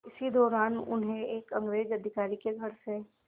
इसी दौरान उन्हें एक अंग्रेज़ अधिकारी के घर से